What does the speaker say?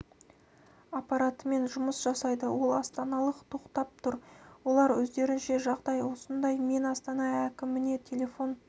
аппаратымен жұмыс жасайды ал астаналық тоқтап тұр олар өздерінше жағдай осындай мен астана әкіміне телефон